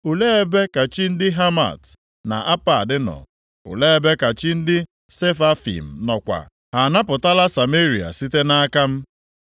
Olee ebe ka chi ndị Hamat na Apad nọ? Olee ebe ka chi ndị Sefavaim nọkwa? Ha anapụtala Sameria site nʼaka m?